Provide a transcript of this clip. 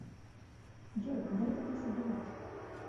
джой куда это ты собралась